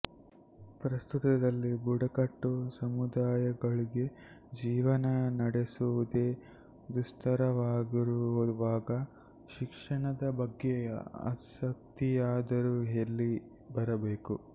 ಪ್ರಸ್ತುತದಲ್ಲಿ ಬುಡಕಟ್ಟು ಸಮುದಾಯಗಳಿಗೆ ಜೀವನ ನಡೆಸುವುದೇ ದುಸ್ಥರವಾಗಿರುವಾಗ ಶಿಕ್ಷಣದ ಬಗ್ಗೆ ಆಸಕ್ತಿಯಾದರೂ ಎಲ್ಲಿ ಬರಬೇಕು